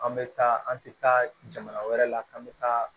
An bɛ taa an tɛ taa jamana wɛrɛ la k'an bɛ taa